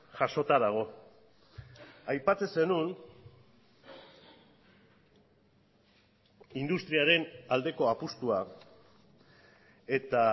jasota dago aipatzen zenuen industriaren aldekoa apustua eta